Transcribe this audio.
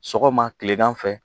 Sɔgɔma kilegan fɛ